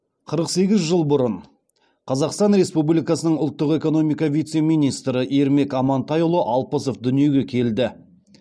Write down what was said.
қырық сегіз жыл бұрын қазақстан республикасының ұлттық экономика вице министрі ермек амантайұлы алпысов дүниеге келді